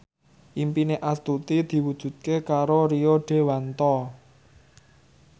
impine Astuti diwujudke karo Rio Dewanto